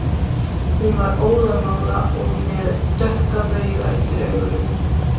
Hún var óðamála og með dökka bauga undir augunum